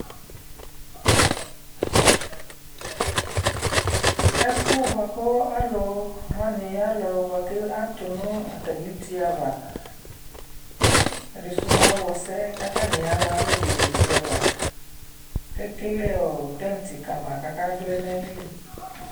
ɛƒʋ bʋakʋ alʋ wani alʋ bʋakʋ atʋnʋ atami ʋti aɣa, ɛdisʋ mʋ awɔ sɛ kʋ atani yaa alʋ bɛnɛ ʋti aɣa kʋ ɛkɛlɛɔ tent kama kʋ aka vlɛ nʋ ayili